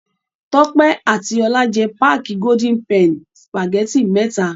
Tọ́pẹ́ àti Ọlá jẹ páákì Golden penny sìpàgẹ́tì mẹ́ta.